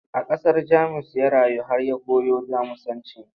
A ƙasar Jamus ya rayu har ya koyo Jamusanci.